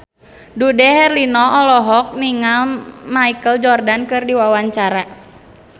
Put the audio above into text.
Dude Herlino olohok ningali Michael Jordan keur diwawancara